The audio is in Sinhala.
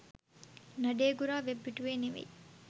නඩේගුරා වෙබ් පිටුවේ නෙමෙයි.